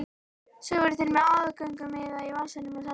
Svo voru þeir með aðgöngumiða í vasanum og seldu.